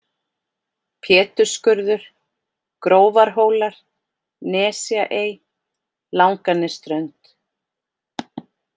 Pétursskurður, Grófarhólar, Nesjaey, Langanesströnd